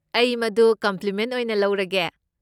ꯑꯩ ꯃꯗꯨ ꯀꯣꯝꯄ꯭ꯂꯤꯃꯦꯟ ꯑꯣꯏꯅ ꯂꯧꯔꯒꯦ꯫